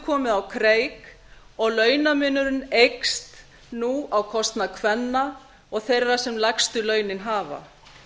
komið á kreik og launamunurinn eykst nú á kostnað kvenna og þeirra sem lægstu launin hafa